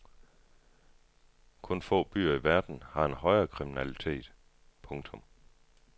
Kun få byer i verden har en højere kriminalitet. punktum